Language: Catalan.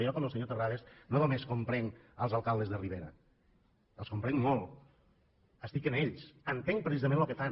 jo com el senyor terrades no només comprenc els alcaldes de la ribera els comprenc molt estic amb ells entenc precisament el que fan